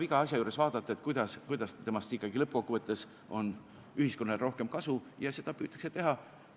Iga asja juures tuleb vaadata, kuidas temast ikkagi lõppkokkuvõttes ühiskonnale rohkem kasu on, ja seda püütakse teha.